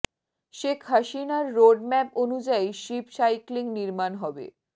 শেখ হাসিনার road map অনুযায়ী ship cycling নির্মাণ হবে